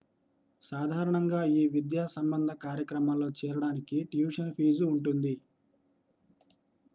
సాధారణంగా ఈ విద్యా సంబంధ కార్యక్రమాల్లో చేరడానికి ట్యూషన్ ఫీజు ఉంటుంది